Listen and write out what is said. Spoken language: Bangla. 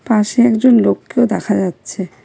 পাশে একজন লোককেও দেখা যাচ্ছে।